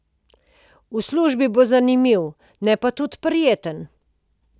V službi bo zanimivo, ne pa tudi prijetno.